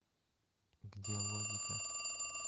где логика